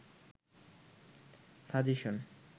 suggestion